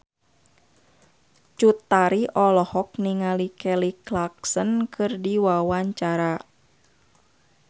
Cut Tari olohok ningali Kelly Clarkson keur diwawancara